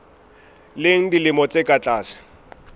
leng dilemo tse ka tlase